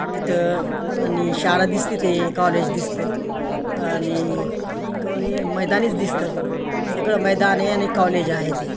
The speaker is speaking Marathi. तिथं आणि शाळा दिसते ते कॉलेज दिसत आणि कोणी मैदानीच दिसत सगळ मैदान हे आणि कॉलेज आहे ते.